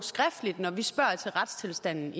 han